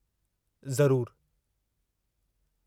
ज़रूरु।